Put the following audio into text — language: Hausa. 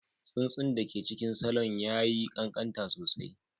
Tsuntsun da ke cikin salon ya yi ƙanƙanta sosai